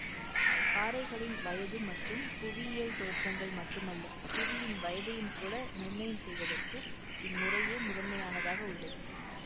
பாறைகளின் வயது மற்றும் புவியியல் தோற்றங்கள் மட்டுமல்ல புவியின் வயதையும்கூட நிர்ணயம் செய்வதற்கு இம்முறையே முதன்மையானதாக உள்ளது